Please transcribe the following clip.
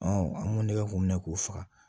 an ŋ'o nɛgɛ k'o minɛ k'o faga